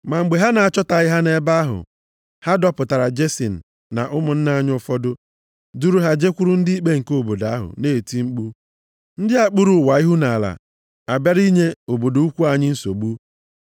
Ma mgbe ha na-achọtaghị ha nʼebe ahụ, ha dọpụtara Jesin na ụmụnna anyị ụfọdụ, duru ha jekwuru ndị ikpe nke obodo ahụ, na-eti mkpu, “Ndị a kpuru ụwa ihu nʼala abịala inye obodo ukwu anyị nsogbu.